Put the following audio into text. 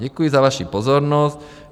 Děkuji za vaší pozornost.